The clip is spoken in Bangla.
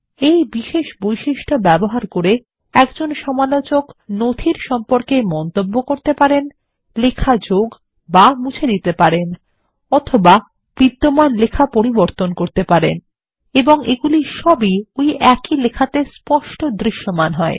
এই বিশেষ বৈশিষ্ট্য ব্যবহার করে একজন সমালোচক নথির সম্পর্কে মন্তব্য করতে পারেন লেখা যোগবা মুছে দিতে পারেন বা বিদ্যমান লেখা পরিবর্তন করতে পারেন এবং এগুলি সবই ওই একই লেখাতে স্পষ্ট দৃশ্যমান হয়